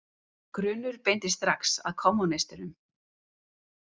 Grunur beindist strax að kommúnistum.